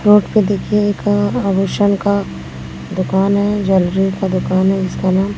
road पे देखिए एक आभूषण का दुकान है ज्वेलरी का दुकान है इसका नाम--